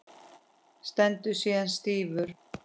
Stendur síðan stífur.